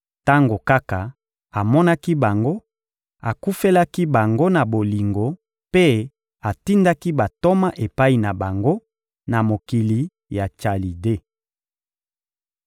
Tango kaka amonaki bango, akufelaki bango na bolingo mpe atindaki bantoma epai na bango, na mokili ya Chalide.